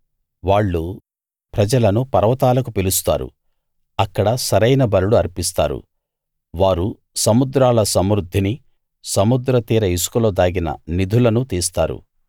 వాళ్ళు ప్రజలను పర్వతాలకు పిలుస్తారు అక్కడ సరైన బలులు అర్పిస్తారు వారు సముద్రాల సమృద్ధినీ సముద్ర తీర ఇసుకలో దాగిన నిధులనూ తీస్తారు